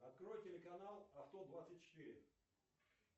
открой телеканал авто двадцать четыре